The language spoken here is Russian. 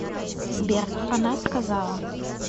сбер она сказала